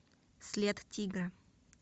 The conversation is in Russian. след тигра